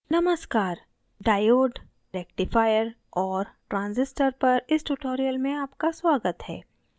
नमस्कार diode rectifier और transistor पर इस tutorial में आपका स्वागत है